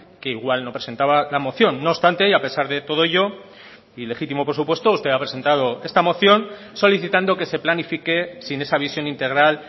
que igual no presentaba la moción no obstante y a pesar de todo ello y legítimo por supuesto usted ha presentado esta moción solicitando que se planifique sin esa visión integral